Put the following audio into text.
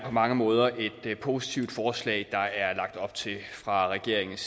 mange måder er et positivt forslag der er lagt op til fra regeringens